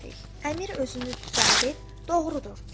Əmir özünü düzəldib, doğrudur dedi.